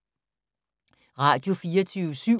Radio24syv